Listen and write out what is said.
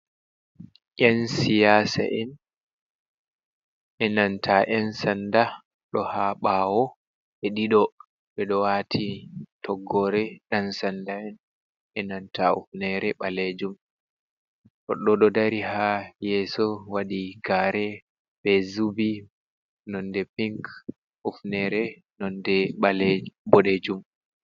Yan siyasa en, enanta yan sanda ɗo ha ɓawo ɓe ɗiɗo ɓeɗo wati toggore yansanda enanta hufnere ɓalejum. Goɗɗo ɗo dari ha yeso waɗi kare be zubi nonde pink ufnere nonde boɗejum.